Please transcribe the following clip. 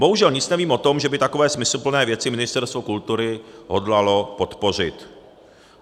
Bohužel nic nevím o tom, že by takové smysluplné věci Ministerstvo kultury hodlalo podpořit.